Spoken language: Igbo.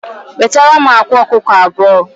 Wetaram akwa ọkụkọ abụọ